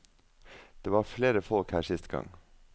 Det var flere folk her sist gang.